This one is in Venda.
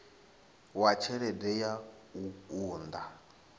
wa tshelede ya u unḓa